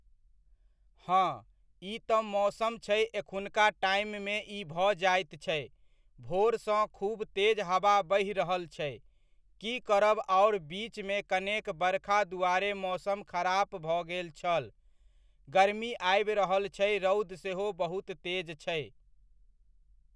हँ, ई तऽ मौसम छै एखुनका टाइम मे ई भऽ जाइत छै, भोरसँ खुब तेज हवा बहि रहल छै, की करब आओर बीचमे कनेक बरखा दुआरे मौसम खराप भऽ गेल छल, गरमी आबि रहल छै रौद सेहो बहुत तेज छै।